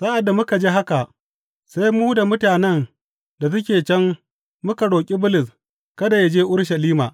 Sa’ad da muka ji haka, sai mu da mutanen da suke can muka roƙi Bulus kada yă je Urushalima.